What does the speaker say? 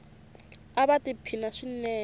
ava ti phina swinene